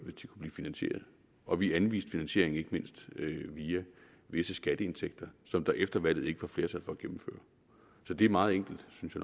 blive finansieret og vi anviste finansiering ikke mindst via visse skatteindtægter som der efter valget ikke var flertal for at gennemføre så det er meget enkelt synes